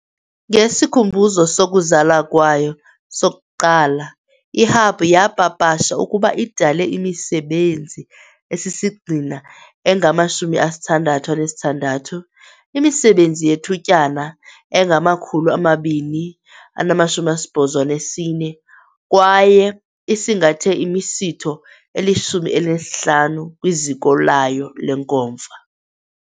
Ngesikhumbuzo sokuzala kwayo sokuqala, i-Hub yapapasha ukuba idale imisebenzi esisigxina engama-66, imisebenzi yethutyana engama-284 kwaye isingathe imisitho eli-15 kwiziko layo lenkomfa .